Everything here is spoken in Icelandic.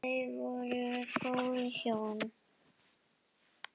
Þau voru góð hjón.